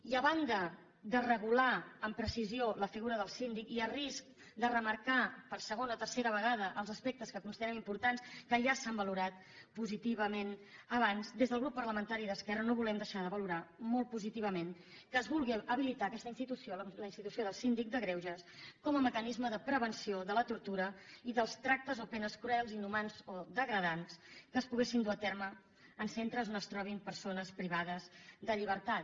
i a banda de regular amb precisió la figura del síndic a risc de remarcar per segona o tercera vegada els aspectes que considerem importants que ja s’han valorat positivament abans des del grup parlamentari d’esquerra no volem deixar de valorar molt positivament que es vulgui habilitar aquesta institució la institució del síndic de greuges com a mecanisme de prevenció de la tortura i dels tractes o penes cruels inhumans o degradants que es poguessin dur a terme en centres on es trobin persones privades de llibertat